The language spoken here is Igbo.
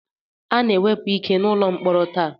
A na-ewepụ ike n'ụlọ mkpọrọ taa